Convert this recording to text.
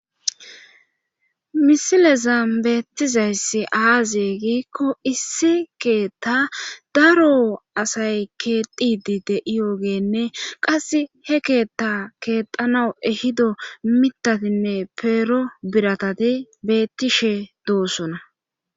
misilezan beettizayssi aaze giikko issi keeththa daro asay keexidi de' iyogeenne qasse he keethta keexanaw ehido mitatinne peero biratati bettishe doosona.